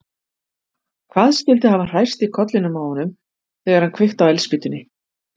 Hvað skyldi hafa hrærst í kollinum á honum þegar hann kveikti á eldspýtunni?